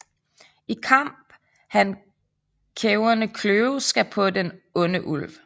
I Kamp han Kæverne kløve skal på den onde Ulv